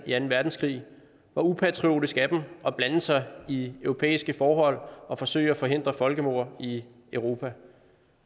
i anden verdenskrig hvor upatriotisk af dem at blande sig i europæiske forhold og forsøge at forhindre folkemord i europa